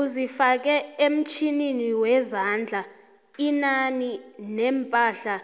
uzifake emtjhininiwezandla inani leempahla